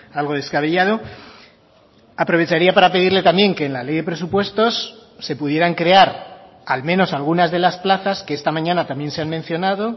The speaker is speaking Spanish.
algo descabellado aprovecharía para pedirle también que en la ley de presupuestos se pudieran crear al menos algunas de las plazas que esta mañana también se han mencionado